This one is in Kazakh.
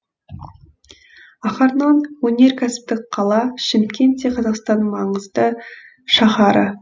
ахарнон өнеркәсіптік қала шымкент те қазақстанның маңызды шаһары